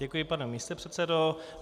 Děkuji, pane místopředsedo.